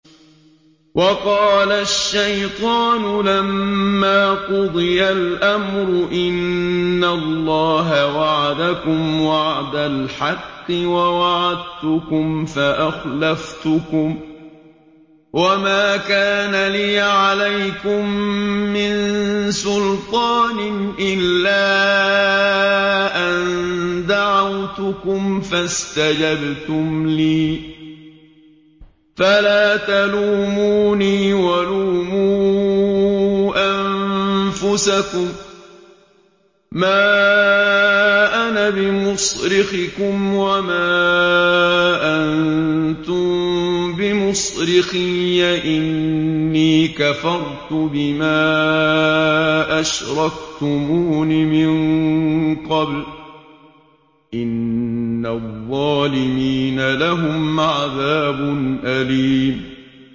وَقَالَ الشَّيْطَانُ لَمَّا قُضِيَ الْأَمْرُ إِنَّ اللَّهَ وَعَدَكُمْ وَعْدَ الْحَقِّ وَوَعَدتُّكُمْ فَأَخْلَفْتُكُمْ ۖ وَمَا كَانَ لِيَ عَلَيْكُم مِّن سُلْطَانٍ إِلَّا أَن دَعَوْتُكُمْ فَاسْتَجَبْتُمْ لِي ۖ فَلَا تَلُومُونِي وَلُومُوا أَنفُسَكُم ۖ مَّا أَنَا بِمُصْرِخِكُمْ وَمَا أَنتُم بِمُصْرِخِيَّ ۖ إِنِّي كَفَرْتُ بِمَا أَشْرَكْتُمُونِ مِن قَبْلُ ۗ إِنَّ الظَّالِمِينَ لَهُمْ عَذَابٌ أَلِيمٌ